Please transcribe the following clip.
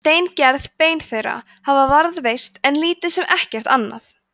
steingerð bein þeirra hafa varðveist en lítið sem ekkert annað